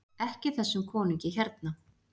EKKI ÞESSUM KONUNGI HÉRNA!